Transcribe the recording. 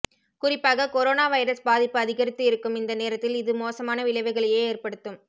குறிப்பாக corona virus பாதிப்பு அதிகரித்து இருக்கும் இந்த நேரத்தில் இது மோசமான விளைவுகளையே ஏற்படுத்தும்